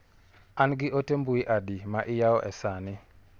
An gi ote mbui adi ma iyawo e sani.